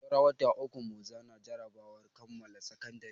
Saura wata uku mu zana jarabawar kammala sakandare.